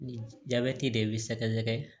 Jabɛti de bɛ sɛgɛsɛgɛ